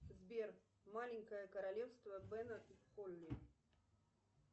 сбер маленькое королевство бена и холли